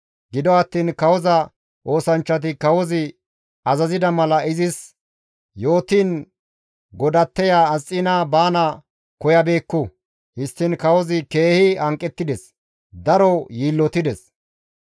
Gido attiin kawoza oosanchchati kawozi azazida mala izis yootiin godatteya Asxiina baana koyabeekku. Histtiin kawozi keehi hanqettides; daro yiillotides.